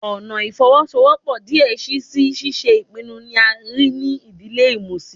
Ọna ifowosowopo diẹ sii si ṣiṣe ipinnu ni a rii ni idile imusin